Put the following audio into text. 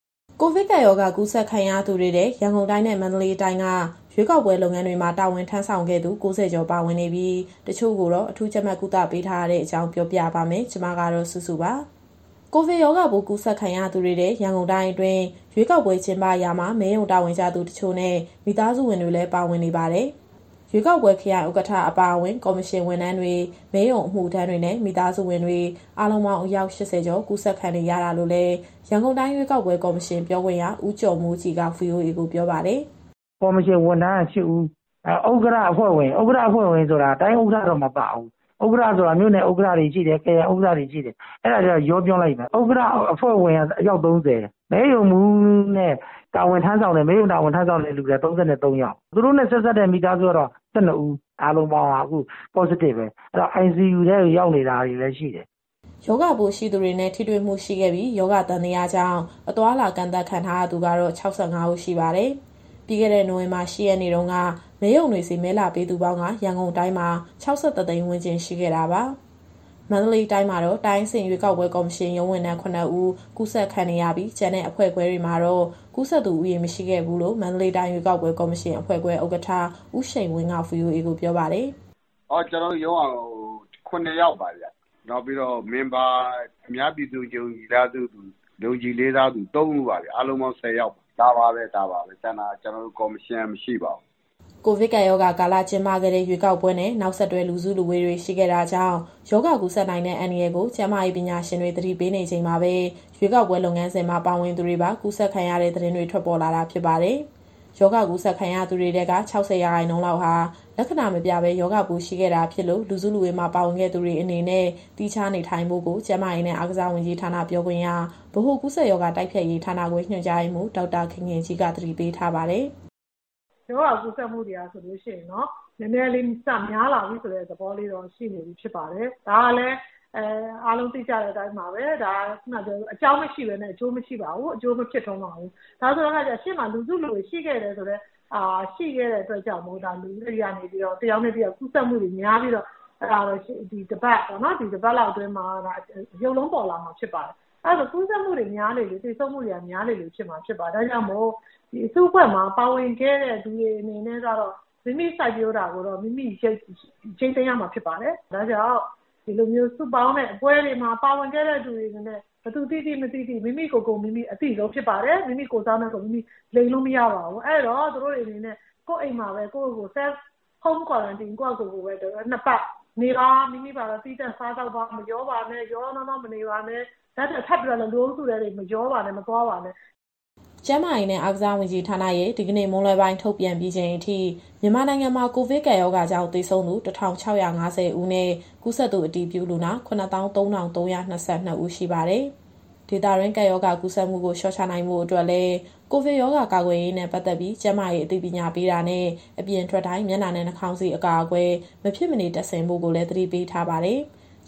ကိုဗစ်ကပ်ရောဂါ ကူးစက်ခံရသူတွေထဲ ရန်ကုန်တိုင်းနဲ့ မန္တလေးတိုင်းက ရွေးကောက်ပွဲလုပ်ငန်းတွေမှာ တာဝန်ထမ်းဆောင်ခဲ့သူ ၉ဝ ကျော် ပါဝင်နေပြီး တချို့ကိုတော့ အထူးကြပ်မတ်ကုသပေးထားရတဲ့အကြောင်း ဗွီအိုအေမြန်မာပိုင်း သတင်းထောက် မစုစုက သတင်းပေးပို့ထားပါတယ်။ ကိုဗစ်ရောဂါပိုး ကူးစက်ခံရသူတွေထဲ ရန်ကုန်တိုင်းအတွင်း ရွေးကောက်ပွဲကျင်းပရာမှာ မဲရုံတာဝန်ကျသူတချို့နဲ့ မိသားစုဝင်တွေလည်း ပါဝင်နေပါတယ်။ ရွေးကောက်ပွဲခရိုင်ဥက္ကဋ္ဌ အပါအဝင် ကော်မရှင်ဝန်ထမ်းတွေ၊ မဲရုံအမှုထမ်းတွေနဲ့ မိသားစုဝင်တွေ အားလုံးပေါင်းအယောက် ၈၀ ကျော် ကူးစက်ခံခဲ့ရတာလို့လည်း ရန်ကုန်တိုင်းရွေးကောက်ပွဲ ကော်မရှင်ပြောခွင့်ရ ဦးကျော်မိုးကြည်က VOA ကိုပြောပါတယ်။ " ကော်မရှင်ဝန်ထမ်းက ၈ဦး၊ နောက် ဥက္ကဌနဲ့ အဖွဲ့ဝင်ဆိုတာ တိုင်းဥက္ကဌတော့ မပါဘူး။ ဥက္ကဌဆိုတာ မြို့နယ်နဲ့ ခရိုင်ဥက္ကဌတွေရှိတယ်။ ဥက္ကဌ - အဖွဲ့ဝင်က အယောက် ၃၀၊ မဲရုံမှူးနဲ့ မဲရုံတာဝန်ထမ်းဆောင်တဲ့သူတွေထဲက ၃၃ ယောက်၊ သူတို့နဲ့ဆက်စပ်တဲ့ မိသားစုကတော့ ၁၂ ဦး။ အားလုံးပေါင်းက အခု Positive ပဲ။ ICU ထဲကို ရောက်နေတာတွေလည်း ရှိတယ်။ " ရောဂါပိုးရှိသူတွေနဲ့ ထိတွေ့မှုရှိခဲ့ပြီး၊ ရောဂါသံသယကြောင့် အသွားအလာကန့်သတ်ခံထားရသူကတော့ ၆၅ ဦးရှိပါတယ်။ ပြီးခဲ့တဲ့ နိုဝင်ဘာ ၈ရက်နေ့တုန်းက မဲရုံတွေဆီ မဲလာပေးသူပေါင်းက ရန်ကုန်တိုင်းမှာ ၆၁ သိန်းဝန်းကျင် ရှိခဲ့တာပါ။ မန္တလေးတိုင်းမှာတော့ တိုင်းအဆင့်ရွေးကောက်ပွဲကော်မရှင် ရုံးဝန်ထမ်း ၇ဦး ကူးစက်ခံနေရပြီး၊ ကျန်တဲ့အဖွဲ့ခွဲတွေမှာတော့ ကူးစက်သူဦးရေ မရှိခဲ့ဘူးလို့ မန္တလေးတိုင်းရွေးကောက်ပွဲ ကော်မရှင်အဖွဲ့ခွဲဥက္ကဌ ဦးရှိန်ဝင်းက VOA ကိုပြောပါတယ်။ " ကျနော်တို့ရုံးက ၇ယောက်ပါဗျ။ နောက် အများပြည်သူ ယုံကြည်လေးစားသူ ၃ဦးပါဗျ။ အားလုံးပေါင်း ၁၀ ယောက် ဒါပါပဲ။ ကျန်တာ ကျနော်တို့ကော်မရှင်က မရှိပါဘူး။ " ကိုဗစ်ကပ်ရောဂါကာလ ကျင်းပခဲ့တဲ့ ရွေးကောက်ပွဲနဲ့ နောက်ဆက်တွဲ လူစုလူဝေးတာတွေ ရှိခဲ့တာကြောင့် ရောဂါကူးစက်နိုင်တဲ့ အန္တရာယ်ကို ကျန်းမာရေး ပညာရှင်တွေ သတိပေးနေချိန်မှာပဲ ရွေးကောက်ပွဲ လုပ်ငန်းစဉ်မှာ ပါဝင်သူတွေပါ ကူးစက်ခံရတဲ့ သတင်းတွေ ထွက်ပေါ်လာတာ ဖြစ်ပါတယ်။ ရောဂါကူးစက်ခံရသူတွေထဲက ၆၀ ရာခိုင်နှုန်းလောက်ဟာ လက္ခဏာမပြပဲ ရောဂါပိုးရှိနေခဲ့တာဖြစ်လို့ လူစုလူဝေးမှာပါဝင်ခဲ့သူတွေအနေနဲ့ သီးခြားနေထိုင်ဖို့ကို ကျန်းမာရေးနဲ့အားကစားဝန်ကြီးဌာန ပြောခွင့်ရ၊ ဗဟိုကူးစက်ရောဂါ တိုက်ဖျက်ရေးဌာနခွဲ ညွှန်ကြားရေးမှူး ဒေါက်တာခင်ခင်ကြီးက သတိပေးပါတယ်။ " ရောဂါကူးစက်မှုတွေက နည်းနည်းလေးများလာတဲ့ သဘောရှိပါတယ်။ ဒါကလည်း အားလုံးသိကြပြီးတဲ့အတိုင်းပါပဲ၊ အကြောင်းမရှိပဲနဲ့ အကျိုးမဖြစ်ပါဘူး။ ရှေ့မှာ လူစုလူဝေးတွေရှိခဲ့တော့ တယောက်နဲ့တယောက် ကူးစက်မှုများပြီးတော့ ဒီတပတ်လောက်အတွင်းမှာ ရုပ်လုံးပေါ်လာမှာဖြစ်ပါတယ်။ ကူးစက်မှုတွေများလေလေ သေဆုံးမှုတွေများမှာဖြစ်ပါတယ်။ ဒါကြောင့်မို့ ဒီအစုအဖွဲ့မှာ ပါဝင်ခဲ့သူတွေအနေနဲ့ကတော့ မိမိစိုက်ပျိုးတာကိုတော့ မိမိရိတ်သိမ်းရမှာ ဖြစ်ပါတယ်။ ဒါကြောင့် ဒီလိုစုပေါင်းတဲ့ပွဲတွေမှာပါဝင်ခဲ့တဲ့ သူတွေအနေနဲ့ ဘယ်သူသိသိ မသိသိ၊ မိမိကိုယ်ကိုယ် အသိဆုံးဖြစ်ပါတယ်။ အဲတော့ သူတို့တွေအနေနဲ့ ကိုယ့်ရဲ့အိမ်မှာပဲ Self Quarantine ၂ပတ်နေပါ။ မိမိဘာသာ သီးသန့်စားသောက်ပါ၊ ဘယ်သူနဲ့မှ ရောရောနှောနှောမနေပါနဲ့၊ ထပ်ပြီးတော့လည်း လူအုပ်စုထဲ မသွားပါနဲ့။ " ကျန်းမာရေးနဲ့ အားကစားဝန်ကြီးဌာနရဲ့ ဒီကနေ့မွန်းလွဲပိုင်း ထုတ်ပြန်ပြီးချိန်အထိ မြန်မာနိုင်ငံမှာ ကိုဗစ်ကပ်ရောဂါကြောင့် သေဆုံးသူ ၁,၆၅၀ ဦးနဲ့ ကူးစက်သူအတည်ပြုလူနာ ၇၃,၃၂၂ ဦးရှိပါတယ်။ ဒေသတွင်း ကပ်ရောဂါကူးစက်မှုကို လျှော့ချနိုင်ဖို့အတွက်လည်း ကိုဗစ်ရောဂါကာကွယ်ရေးနဲ့ ပတ်သက်ပြီး ကျန်းမာရေးအသိပညာပေးတာနဲ့ အပြင်ထွက်တိုင်း မျက်နှာနဲ့ နှာခေါင်စည်း အကာအကွယ် မဖြစ်မနေ တပ်ဆင်ဖို့ကိုလည်း သတိပေးထားပါတယ်။